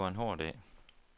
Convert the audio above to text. Det var en hård dag.